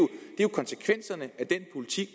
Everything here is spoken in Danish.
konsekvenserne af den politik